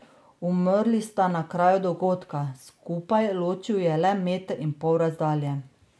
Umrli sta na kraju dogodka, skupaj, ločil ju je le meter in pol razdalje.